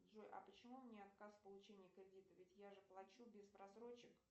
джои а почему мне отказ в получении кредита ведь я же плачу без просрочек